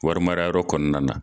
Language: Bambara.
Wari mara yɔrɔ kɔnɔna na.